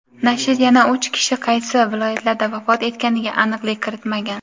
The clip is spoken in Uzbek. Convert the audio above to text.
Nashr yana uch kishi qaysi viloyatlarda vafot etganiga aniqlik kiritmagan.